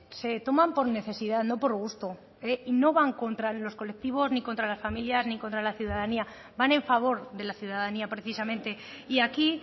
se toman por necesidad no por gusto eh y no van contra los colectivos ni contra las familias ni contra la ciudadanía van en favor de la ciudadanía precisamente y aquí